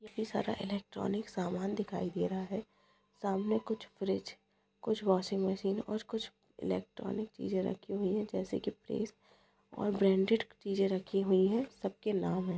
ये सारा इलेक्ट्रॉनिक समान दिखाई दे रहे है सामने कुछ फ्रीज कुछ वाशिंग मशीन और कुछ इलेक्ट्रॉनिक चीजे रखी हुई है जैसे की फ्रीज और ब्रांडेड चीजे रखी हुई है सब के नाम है।